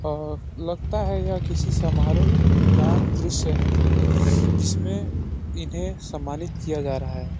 आ लगता है ये किसी समारोह का दॄश्य है जिसमें इन्हें सम्मानित किया जा रहा है।